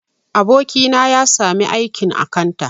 Abokina ya sami aikin akanta